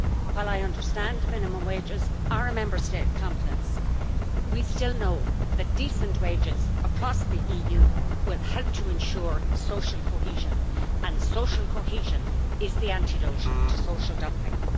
While I understand minimum wages are a Member State competence, we still know that decent wages across the EU will help to ensure social cohesion, and social cohesion is the antidote to social dumping.